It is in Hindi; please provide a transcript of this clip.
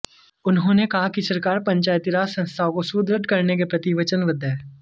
उन्होंने कहा कि सरकार पंचायती राज संस्थाओं को सुदृढ़ करने के प्रति वचनबद्ध है